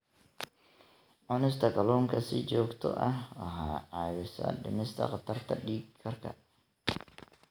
Cunista kalluunka si joogto ah waxay caawisaa dhimista khatarta dhiig karka.